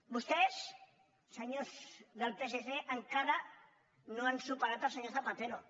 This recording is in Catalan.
vostès senyors del psc encara no han superat el senyor zapatero